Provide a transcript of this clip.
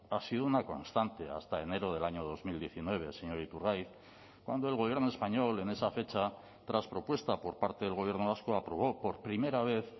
ha sido una constante hasta enero del año dos mil diecinueve señor iturgaiz cuando el gobierno español en esa fecha tras propuesta por parte del gobierno vasco aprobó por primera vez